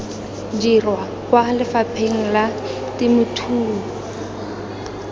dirwa kwa lefapheng la temothuo